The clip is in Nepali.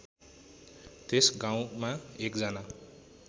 त्यस गाउँमा एकजना